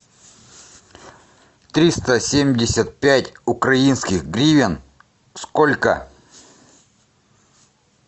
триста семьдесят пять украинских гривен сколько